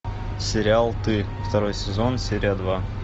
сериал ты второй сезон серия два